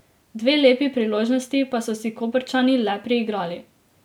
Dve lepi priložnosti pa so si Koprčani le priigrali.